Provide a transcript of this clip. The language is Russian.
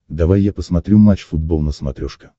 давай я посмотрю матч футбол на смотрешке